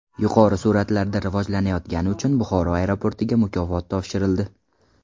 Yuqori sur’atlarda rivojlanayotgani uchun Buxoro aeroportiga mukofot topshirildi.